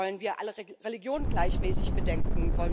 Wollen wir alle Religionen gleichmäßig bedenken?